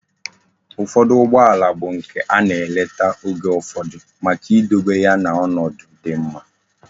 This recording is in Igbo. Ufodu Ugbo ala bu nke ana eleta Oge ufodu Maka idobe ya na onodu di mma